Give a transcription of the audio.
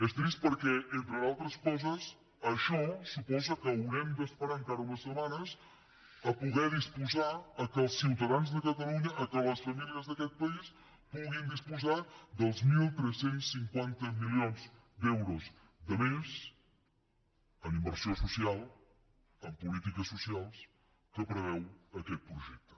és trist perquè entre d’altres coses això suposa que haurem d’esperar encara unes setmanes perquè els ciutadans de catalunya perquè les famílies d’aquest país puguin disposar dels tretze cinquanta milions d’euros de més en inversió social en polítiques socials que preveu aquest projecte